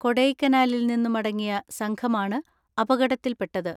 കൊടൈക്കനാലിൽ നിന്നു മടങ്ങിയ സംഘമാണ് അപ കടത്തിൽപ്പെട്ടത്.